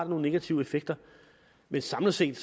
nogle negative effekter men samlet set